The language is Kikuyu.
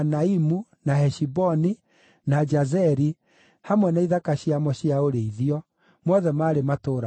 na Heshiboni, na Jazeri, hamwe na ithaka ciamo cia ũrĩithio; mothe maarĩ matũũra mana.